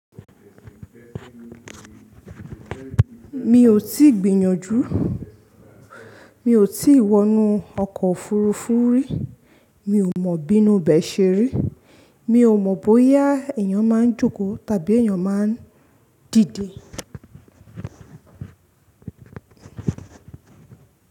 Mi ò tí gbìyànjú, mi ò tí wọnú ọkọ̀ òfurufú rí, mi ò mọ̀ bí inu bẹ́ẹ̀ ṣe rí, mi ò mọ̀ bóyá èyàn máa ń jókòó tàbí èyàn máa ń dìde.